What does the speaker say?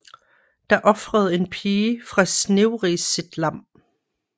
Da ofrede en pige fra Snevris sit lam